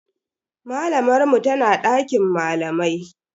Malamar mu tana dakin malamai.